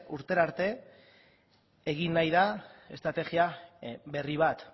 urtera arte egin nahi da estrategia berri bat